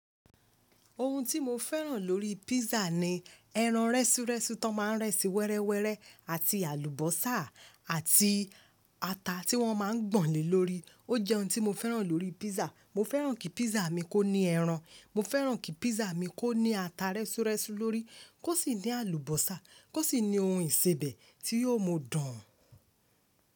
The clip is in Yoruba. Ohun tí mo fẹ́ràn lórí písà ni ẹran rẹ́súrẹ́sú tọn má ń rẹ́sì wẹrẹwẹrẹ àti àlùbọ́sà àti ata tí wọ́n má ń gbọ̀n le lórí. O jẹ́ ohun tí mo fẹ́ràn lórí písà. Mo fẹ́ràn kí písà mi kó ní ẹran. Mo fẹ́ràn kí písà mi kó ní ata rẹ́súrẹ́sú lórí. Kó sì ní àlùbọ́sà. Kó sì ní ohun ìsebẹ̀ tí yóò mo dùn.